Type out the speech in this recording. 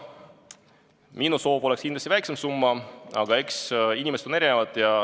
Minu soov oleks olnud leppida kokku väiksemas summas, aga eks inimesed ole erinevad.